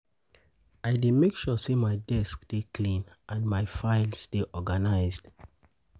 I dey make sure say my desk dey clean and my files dey organized.